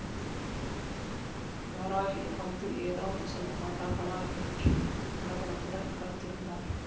யாராகிலும் வந்து ஏதாவது சொல்லமாட்டார்களா என்று படபடப்புடன் காத்திருந்தார்